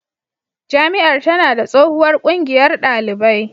Jami'ar tana da tsohuwar ƙungiyar ɗalibai